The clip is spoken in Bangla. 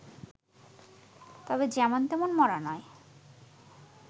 তবে যেমন তেমন মরা নয়